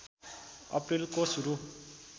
अप्रिलको सुरु